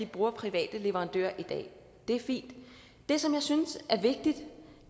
bruge private leverandører det er fint det som jeg synes er vigtigt